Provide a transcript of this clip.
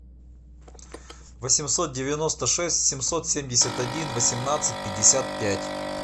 восемьсот девяносто шесть семьсот семьдесят один восемнадцать пятьдесят пять